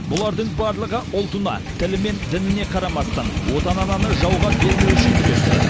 бұлардың барлығы ұлтына тілі мен дініне қарамастан отан ананы жауға бермеу үшін күресті